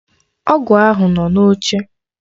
Ọgwụ ahụ nọ n'oche.